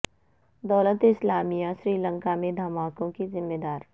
دولت اسلامیہ سری لنکا میں دھماکوں کی ذمہ دار